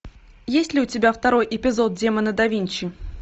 есть ли у тебя второй эпизод демона да винчи